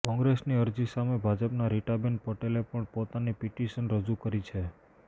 કોંગ્રેસની અરજી સામે ભાજપના રીટાબેન પટેલે પણ પોતાની પીટીશન રજુ કરી છે